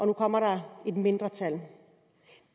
nu kommer et mindretal